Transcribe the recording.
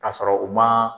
Ka sɔrɔ u ma